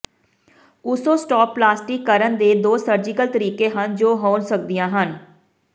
ਓਸੋਸਟੋਪਲਾਸਟੀ ਕਰਨ ਦੇ ਦੋ ਸਰਜੀਕਲ ਤਰੀਕੇ ਹਨ ਜੋ ਹੋ ਸਕਦੀਆਂ ਹਨ